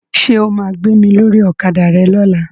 Ṣo ma gbé mi lórí Ọ̀kadà rẹ lọ́la?